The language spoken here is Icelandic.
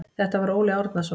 Þetta var Óli Árnason.